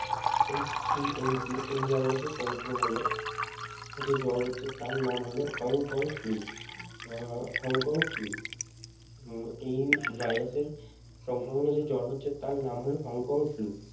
H three N two এই ভাইরাসের সংক্রমণে যে জ্বর হচ্ছে তার নাম হলো Hong Kong Flu ah Hong Kong Flu um এই ভাইরাসের সংক্রমণে যে জ্বর হচ্ছে তার নাম হল হংকং Flu